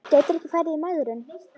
Gætirðu ekki farið í megrun?